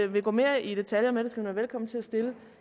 vil gå mere i detaljer med det skal hun være velkommen til at stille